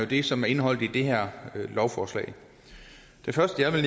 det som er indeholdt i det her lovforslag det første jeg vil